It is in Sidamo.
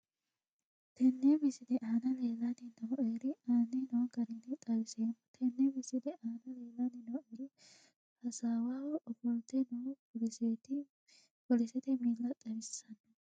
Tenne misile aana leelanni nooerre aane noo garinni xawissemmo. Tenne misile aana leelanni noori hasaawaho ofolte noo polisete miilla xawissanno.